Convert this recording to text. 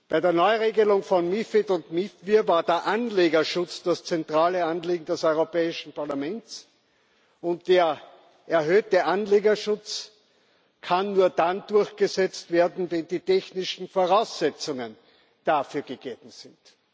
Bei der Neuregelung von MiFID und MiFIR war der Anlegerschutz das zentrale Anliegen des Europäischen Parlaments, und der erhöhte Anlegerschutz kann nur dann durchgesetzt werden, wenn die technischen Voraussetzungen dafür gegeben sind.